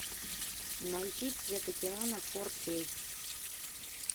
найти цвет океана фор кей